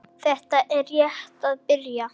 Þetta er rétt að byrja.